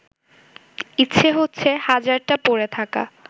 ইচ্ছে হচ্ছে হাজারটা পড়ে থাকা